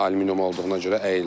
Alüminium olduğuna görə əyildi.